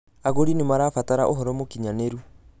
Agurĩ nĩ marabatara ũhoro mũkinyanĩru